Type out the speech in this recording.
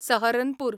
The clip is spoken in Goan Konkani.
सहरनपूर